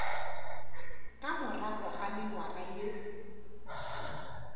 ka morago ga mengwaga ye